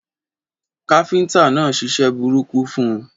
Káfíntà náà ṣiṣẹ́ burúkú fun